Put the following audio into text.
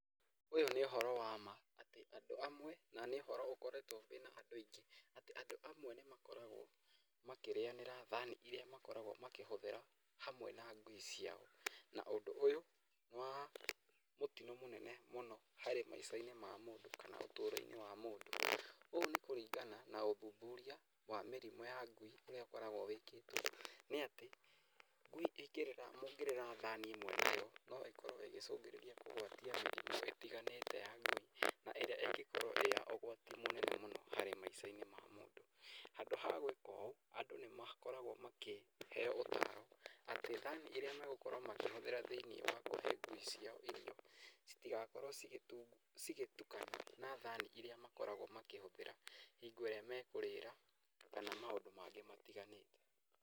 Ũyũ nĩ ũhoro wa ma, atĩ andũ amwe na nĩ ũhoro ũkoretwo wĩna andũ aingĩ atĩ andũ amwe nĩ makoragwo makĩrĩyanĩra thani iria makoragwo makĩhũthĩra hamwe na ngui ciao. Na ũndũ ũyũ nĩ wa mũtino mũnene mũno harĩ maica-inĩ ma mũndũ kana ũtũrũ-inĩ wa mũndũ. Ũũ nĩ kũringana na ũthuthuria wa mĩrimũ ya ngui ũrĩa ũkoragwo wĩkĩtwo nĩ atĩ ngui mũngĩrĩra thani ĩmwe nayo no ĩkorwo ĩgĩcũngĩrĩria kũgwatia mĩrimũ ĩtiganĩte ya ngui na ĩria ĩngĩ korwo ĩ ya ũgwati mũnene mũno harĩ maica-inĩ ma mũndũ. Handũ ha gwĩka ũũ andũ nĩ makoragwo makĩheyo ũtaro atĩ thani ĩrĩa megũkorwo makĩhũthĩra thĩiniĩ wa kũhe ngui ciao irio citigakorwo cigĩtukana na thani iria makoragwo makĩhũthĩra hingo ĩrĩa mekũrĩra kana maũndũ mangĩ matĩganĩte.